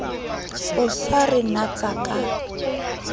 o sa re natsa ka